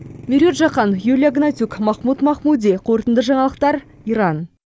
меруерт жаһан юлия гнатюк махмұд махмұди қорытынды жаңалықтар иран